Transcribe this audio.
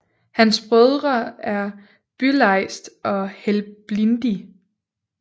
Hans Brødre er Bylejst og Helblindi